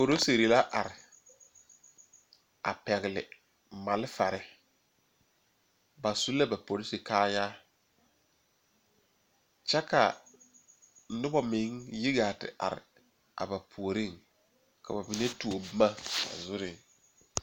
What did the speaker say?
Polisiri la are a pɛgele mafare ba su la ba polisi kaayaa kyɛ ka noba mine yi gaa te are a ba puoriŋ ka ba mine tuo boma ba zuriŋ